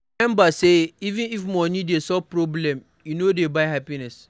Remember sey even if money dey solve problem e no dey buy happiness